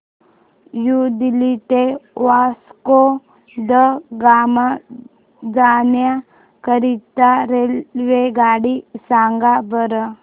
new Delhi ते वास्को द गामा जाण्या करीता रेल्वेगाडी सांगा बरं